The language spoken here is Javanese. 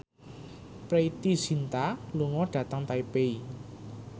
Preity Zinta lunga dhateng Taipei